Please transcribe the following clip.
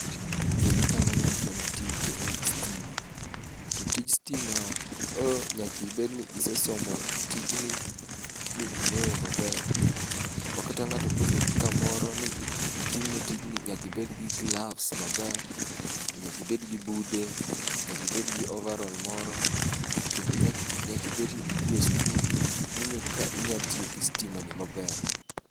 Gini kaneno to en tij stima, to tij stima o nyakibed ni isesomo tijni mi ing'eyo maber. Ma kata ng'ato koluongi kamoro ni itimne tijni, nyakibed gi gloves maber, to nyakibed gi bude, nyakibed gi ovarol moro. To kendo nyaki nyakibedni idhi e skul, ming'eyo kaka inya tiyo gi stima ni maber.